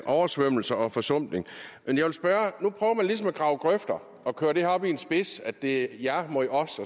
oversvømmelser og forsumpning nu prøver man ligesom at grave grøfter og køre det her op i en spids hvor det er jer mod os